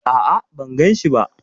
A'a, ban ganshi ba.